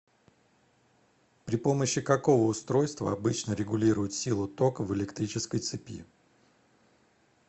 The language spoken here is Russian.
при помощи какого устройства обычно регулируют силу тока в электрической цепи